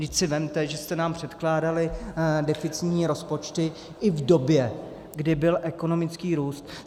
Vždyť si vezměte, že jste nám předkládali deficitní rozpočty i v době, kdy byl ekonomický růst.